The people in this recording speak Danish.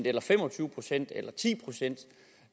eller fem og tyve procent eller ti procent